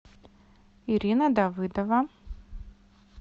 ирина давыдова